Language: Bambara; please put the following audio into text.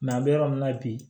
an bɛ yɔrɔ min na bi